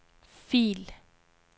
fil